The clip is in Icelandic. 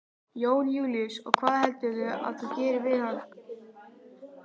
Jón Júlíus: Og hvað heldurðu að þú gerir við hann?